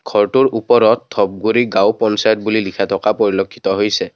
ঘৰটোৰ ওপৰত ধবগুৰি গাঁও পঞ্চায়ত বুলি লিখা থকা পৰিলেক্ষিত হৈছে।